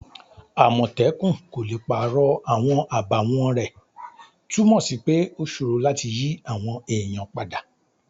Àmòtẹ́kun kò le pàrọ̀ àwọn àbàwọ́n rẹ̀' túnmọ̀ sí pé ó sòro láti yí àwọn èèyàn padà